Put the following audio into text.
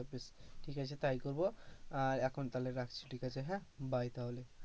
ঠিক আছে তাই করব, আহ এখন তাহলে রাখছি, ঠিক আছে হ্যাঁ bye তাহলে,